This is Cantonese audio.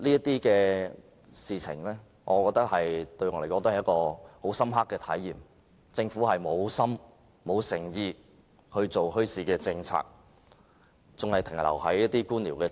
這些事情給我一種深刻的體驗，就是政府沒有心、沒有誠意推動墟市政策，當局仍停留在官僚主義。